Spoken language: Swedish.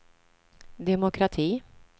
demokrati